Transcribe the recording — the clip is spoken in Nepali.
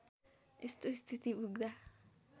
यस्तो स्थिति पुग्दा